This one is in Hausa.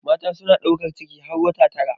Mata suna ɗaukar ciki har wata tara.